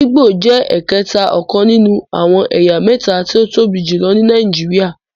Igbo jé ẹkẹta ọkàn nínú àwọn ẹyà méta tí o tóbi jùlọ ní Nàìjíríà